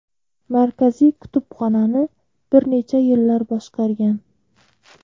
Markaziy kutubxonani bir necha yillar boshqargan.